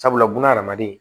Sabula bunahadamaden